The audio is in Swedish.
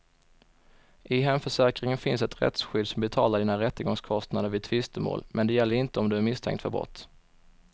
I hemförsäkringen finns ett rättsskydd som betalar dina rättegångskostnader vid tvistemål, men det gäller inte om du är misstänkt för brott.